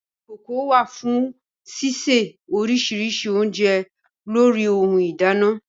Ìkokò wà fún sísè oríṣiríṣi oúnjẹ lórí ohun ìdáná